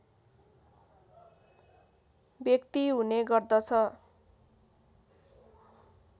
व्यक्ति हुने गर्दछ